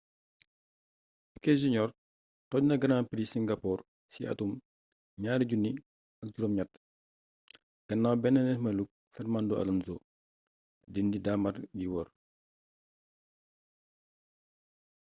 piquet jr tojna grand prix singapore ci atum 2008 ginnaw bénn neerméluk fernando alonso di indi daamar gi woor